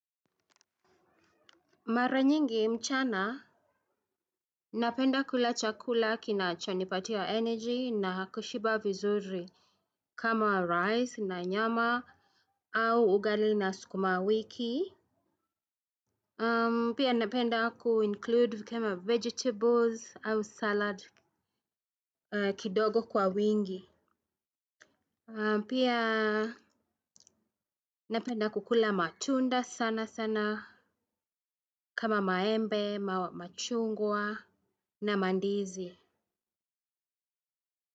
Mara nyingi mchana. Napenda kula chakula kinachonipatia energy na kushiba vizuri kama rice na nyama au ugali na sukuma wiki. Pia napenda kuinclude kama vegetables au salad kidogo kwa wingi. Pia napenda kukula matunda sana sana kama maembe, machungwa na mandizi.